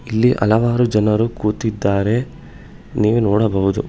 ಇಲ್ಲಿ ಹಲವಾರು ಜನರು ಕೂತಿದ್ದಾರೆ ನೀವು ನೋಡಬಹುದು.